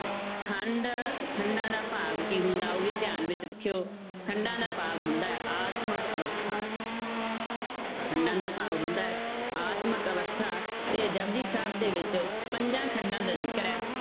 ਖੰਡ ਖੰਡਾਂ ਦਾ ਭਾਵ ਕੀ ਹੁੰਦਾ, ਉਹ ਵੀ ਧਿਆਨ ਵਿੱਚ ਰੱਖਿਓ ਖੰਡਾਂ ਦਾ ਭਾਵ ਹੁੰਦਾ ਹੈ ਆਤਮਕ ਅਵਸਥਾ ਖੰਡਾਂ ਦਾ ਭਾਵ ਹੁੰਦਾ ਹੈ ਆਤਮਕ ਅਵਸਥਾ ਤੇ ਜਪੁਜੀ ਸਾਹਿਬ ਦੇ ਵਿੱਚ ਪੰਜਾਂ ਖੰਡਾਂ ਦਾ ਜ਼ਿਕਰ ਹੈ